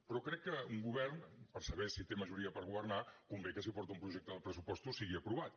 però crec que un govern per saber si té majoria per governar convé que si porta un projecte de pressupostos sigui aprovat